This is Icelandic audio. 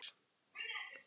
Þeytið saman egg og sykur.